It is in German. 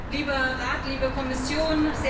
Lieber Rat, liebe Kommission!